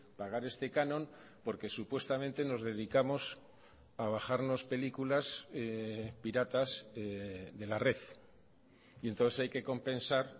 pagar este canon porque supuestamente nos dedicamos a bajarnos películas piratas de la red y entonces hay que compensar